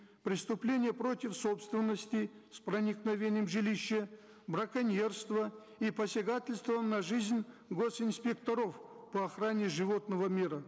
преступления против собственности с проникновением в жилище браконьерства и посягательства на жизнь гос инспекторов по охране животного мира